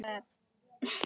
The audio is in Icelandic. Elsku Valdi.